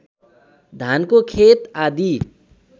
धानको खेत आदी